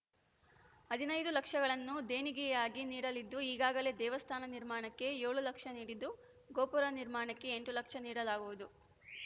ಹದಿನೈದು ಲಕ್ಷಗಳನ್ನು ದೇಣಿಗೆಯಾಗಿ ನೀಡಲಿದ್ದು ಈಗಾಗಲೇ ದೇವಸ್ಥಾನ ನಿರ್ಮಾಣಕ್ಕೆ ಏಳು ಲಕ್ಷ ನೀಡಿದ್ದು ಗೋಪುರ ನಿರ್ಮಾಣಕ್ಕೆ ಎಂಟು ಲಕ್ಷ ನೀಡಲಾಗುವುದು